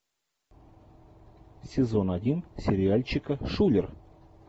сезон один сериальчика шулер